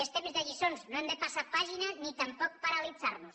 és temps de lliçons no hem de passar pàgina ni tampoc paralitzar nos